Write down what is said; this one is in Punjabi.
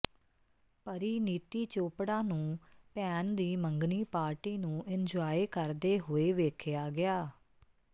ਪਰੀਨੀਤੀ ਚੋਪੜਾ ਨੂੰ ਭੈਣ ਦੀ ਮੰਗਣੀ ਪਾਰਟੀ ਨੂੰ ਇੰਨਜੁਆਏ ਕਰਦੇ ਹੋਏ ਵੇਖਿਆ ਗਿਆ